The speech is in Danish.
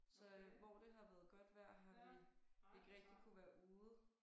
Så øh hvor det har været godt vejr har vi ikke rigtig kunnet være ude